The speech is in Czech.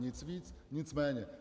Nic víc, nic méně.